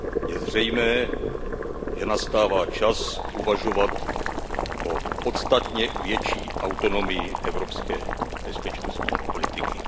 Je zřejmé, že nastává čas uvažovat o podstatně větší autonomii evropské bezpečnostní politiky.